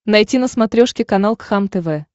найти на смотрешке канал кхлм тв